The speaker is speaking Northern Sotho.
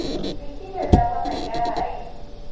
le kile la bona kae